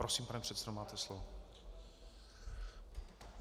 Prosím, pane předsedo, máte slovo.